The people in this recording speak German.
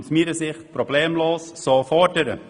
Aus meiner Sicht kann man diese problemlos einfordern.